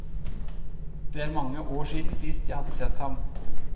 Det er mange år siden jeg sist hadde sett ham.